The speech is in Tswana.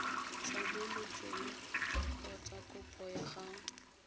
tlhabolotsweng kgotsa kopo ya go